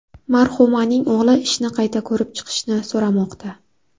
Marhumaning o‘g‘li ishni qayta ko‘rib chiqishni so‘ramoqda.